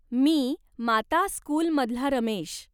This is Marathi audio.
मी माता स्कूलमधला रमेश.